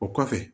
O kɔfɛ